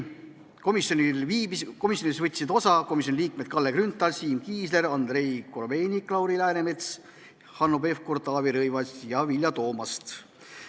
Osa võtsid komisjoni liikmed Kalle Grünthal, Siim Kiisler, Andrei Korobeinik, Lauri Läänemets, Hanno Pevkur, Taavi Rõivas ja Vilja Toomast.